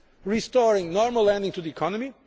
restoring normal lending to the economy